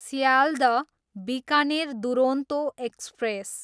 Sealdah, Bikaner Duronto express